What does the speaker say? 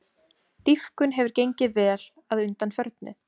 Dýpkun hefur gengið vel að undanförnu